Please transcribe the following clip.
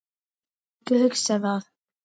Ég má ekki hugsa það.